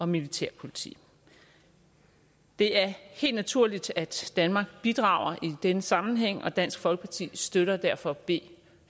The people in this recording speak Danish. militærpoliti det er helt naturligt at danmark bidrager i denne sammenhæng og dansk folkeparti støtter derfor b